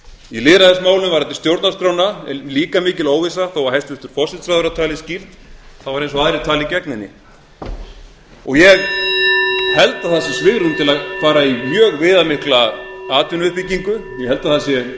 í lýðræðismálum varðandi stjórnarskrána er líka mikil óvissa þó að hæstvirtur forsætisráðherra tali skýrt er eins og aðrir tali gegn henni ég held að það sé svigrúm til að fara í mjög viðamikla atvinnuuppbyggingu ég held að það sé til